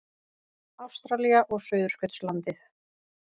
Ástralía og Suðurskautslandið.